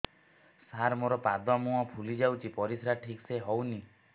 ସାର ମୋରୋ ପାଦ ମୁହଁ ଫୁଲିଯାଉଛି ପରିଶ୍ରା ଠିକ ସେ ହଉନି